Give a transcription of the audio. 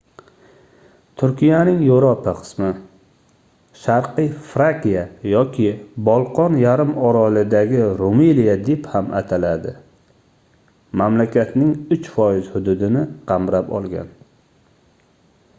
turkiyaning yevropa qismi sharqiy frakiya yoki bolqon yarim orolidagi rumeliya deb ham ataladi mamlakatning 3% hududini qamrab olgan